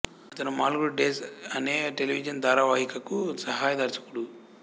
అతను మాల్గుడి డేస్ అనే టెలివిజన్ ధారావాహికకు సహాయ దర్శకుడు